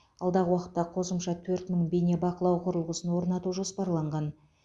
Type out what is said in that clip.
алдағы уақытта қосымша төрт мың бейнебақылау құрылғысын орнату жоспарланған